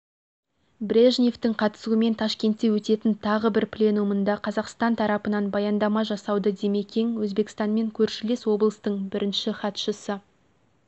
брежневтің қатысуымен ташкентте өтетін тағы бір пленумында қазақстан тарапынан баяндама жасауды димекең өзбекстанмен көршілес облыстың бірінші хатшысы